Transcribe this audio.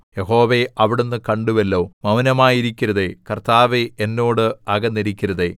യഹോവേ അവിടുന്ന് കണ്ടുവല്ലോ മൗനമായിരിക്കരുതേ കർത്താവേ എന്നോട് അകന്നിരിക്കരുതേ